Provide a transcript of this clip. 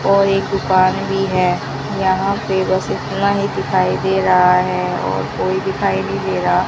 और एक दुकान भी है यहां पे बस इतना ही दिखाई दे रहा है और कोई दिखाई नहीं दे रहा --